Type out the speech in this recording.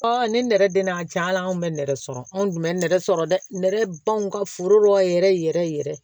ne nɛrɛ den n'a jala an kun bɛ nɛgɛ sɔrɔ anw tun bɛ nɛgɛ sɔrɔ dɛ nɛgɛ banguw ka foro la yɛrɛ yɛrɛ yɛrɛ